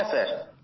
হ্যাঁ স্যার